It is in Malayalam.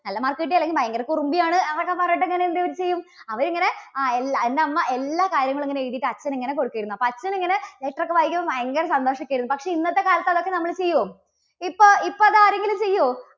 നല്ല mark കിട്ടി അല്ലെങ്കിൽ ഭയങ്കര കുറുമ്പി ആണ്. എന്നൊക്കെ പറഞ്ഞിട്ട് അങ്ങനെ എന്താ ഇവർ ചെയ്യും, അവർ ഇങ്ങനെ, ആ എല്ല എൻറെ അമ്മ എല്ലാ കാര്യങ്ങളും ഇങ്ങനെ എഴുതിയിട്ട് അച്ഛന് ഇങ്ങനെ കൊടുത്തിരുന്നു. അപ്പോൾ അച്ഛൻ ഇങ്ങനെ letter ഒക്കെ വായിക്കുമ്പോൾ ഭയങ്കര സന്തോഷം ഒക്കെ ആയിരുന്നു. പക്ഷേ ഇന്നത്തെ കാലത്ത് അതൊക്കെ നമ്മൾ ചെയ്യോ? ഇപ്പോ ഇപ്പൊ അത് ആരെങ്കിലും ചെയ്യേ?